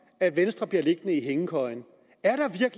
at venstre bliver liggende i hængekøjen